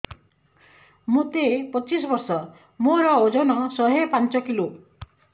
ମୋତେ ପଚିଶି ବର୍ଷ ମୋର ଓଜନ ଶହେ ପାଞ୍ଚ କିଲୋ